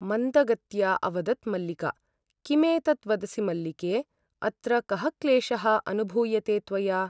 मन्दगत्या अवदत् मल्लिका किमेतत् वदसि मल्लिके ! अत्र कः क्लेशः अनुभूयते त्वया ।